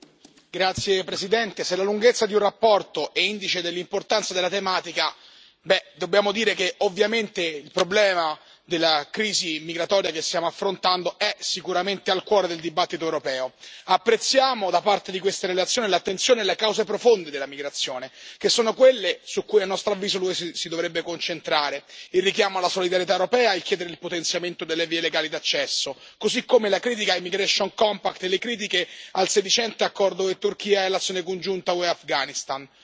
Signora Presidente, onorevoli colleghi, se la lunghezza di una relazione è indice dell'importanza della tematica, dobbiamo dire che, ovviamente, il problema della crisi migratoria che stiamo affrontando è sicuramente al cuore del dibattito europeo. Apprezziamo, in questa relazione, l'attenzione prestata alle cause profonde della migrazione, che sono quelle su cui, a nostro avviso, l'UE si dovrebbe concentrare il richiamo alla solidarietà europea, il chiedere il potenziamento delle vie legali d'accesso, così come la critica al migration compact le critiche al sedicente accordo UE Turchia e l'azione congiunta UE Afghanistan.